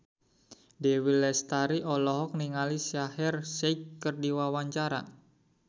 Dewi Lestari olohok ningali Shaheer Sheikh keur diwawancara